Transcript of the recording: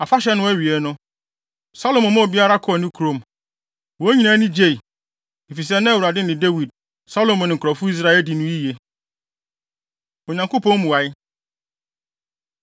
Afahyɛ no awiei no, Salomo maa obiara kɔɔ ne kurom. Wɔn nyinaa ani gyei, efisɛ na Awurade ne Dawid, Salomo ne nkurɔfo Israelfo adi no yiye. Onyankopɔn Mmuae